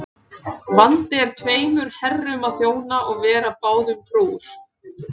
Vandi er tveimur herrum að þjóna og vera báðum trúr.